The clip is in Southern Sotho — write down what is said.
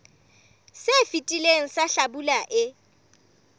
se fetileng sa hlabula e